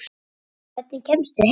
Hvernig kemstu heim?